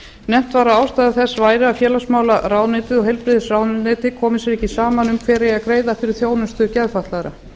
nefnt var að ástæða þess væri að félagsmálaráðuneytið og heilbrigðisráðuneytið komi sér ekki saman um hver eigi að greiða fyrir þjónustu geðfatlaðra